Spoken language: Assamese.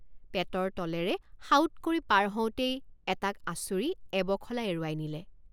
পেটৰ তলেৰে সাউৎ কৰি পাৰ হওঁতেই এটাক আছুৰি এবখলা এৰুৱাই নিলে।